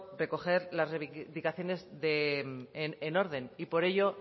recoger las reivindicaciones en orden y por ello